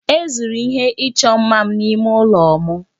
E zuru ihe ịchọ mma m n'ime ụlọ m